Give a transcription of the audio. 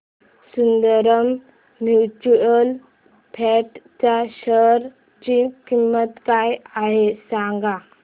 Sundaram mutual fund च्या share ची किंमत काय आहे सांगा